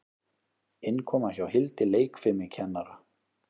Innkoma hjá Hildi leikfimikennara.